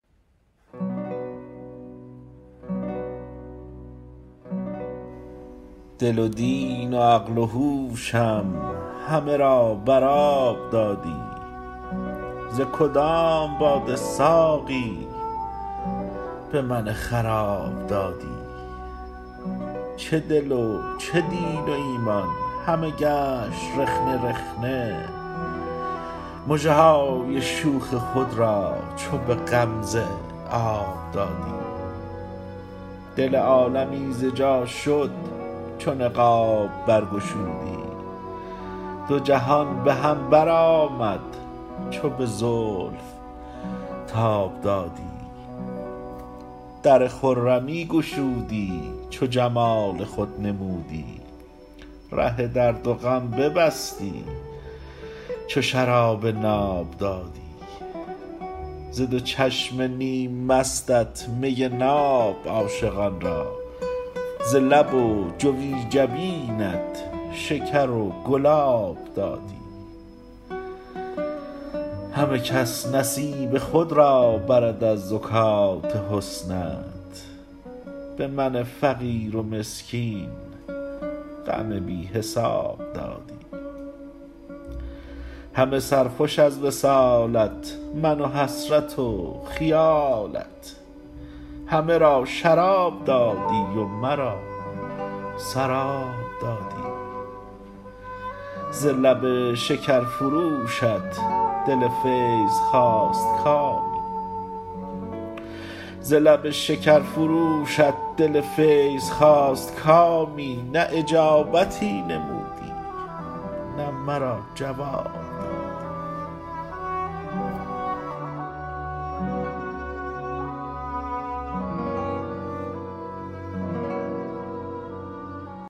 دل و دین و عقل و هوشم همه را بر آب دادی ز کدام باده ساقی به من خراب دادی چه دل و چه دین و ایمان همه گشت رخنه رخنه مژه های شوخ خود را چو به غمزه آب دادی دل عالمی ز جا شد چو نقاب بر گشودی دو جهان به هم بر آمد چو به زلف تاب دادی در خرمی گشودی چو جمال خود نمودی ره درد و غم ببستی چو شراب ناب دادی ز دو چشم نیم مستت می ناب عاشقان را ز لب و جوی جبینت شکر و گلاب دادی همه کس نصیب خود را برد از زکات حسنت به من فقیر و مسکین غم بی حساب دادی همه سرخوش از وصالت من و حسرت و خیالت همه را شراب دادی و مرا سراب دادی ز لب شکرفروشت دل “فیض” خواست کامی نه اجابتی نمودی نه مرا جواب دادی